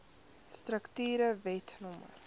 strukture wet no